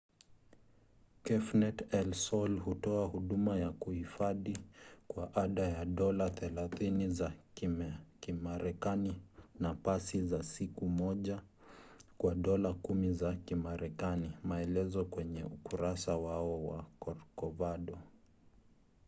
cafenet el sol hutoa huduma ya kuhifadhi kwa ada ya dola 30 za kimarekani na pasi za siku moja kwa dola 10 za kimarekani; maelezo kwenye ukurasa wao wa corcovado